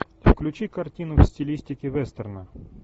включи картину в стилистике вестерна